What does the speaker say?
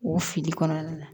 O fili kɔnɔna na